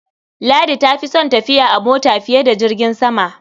Ladi ta fi son tafiya a mota fiye da jirgin sama.